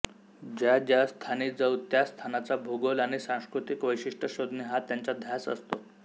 ज्या ज्या स्थानी जाऊ त्या स्थानाचा भूगोल आणि सांस्कृतिक वैशिष्ट्य शोधणे हा त्यांचा ध्यास असतो